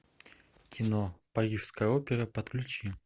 кино парижская опера подключи